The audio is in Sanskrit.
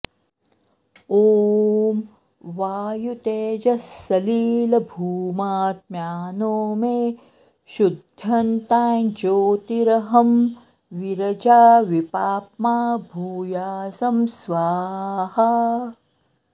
ॐ वायुतेजःसलिलभूम्यात्मानो मे शुद्ध्यन्ताञ्ज्योतिरहं विरजा विपाप्मा भूयासं स्वाहा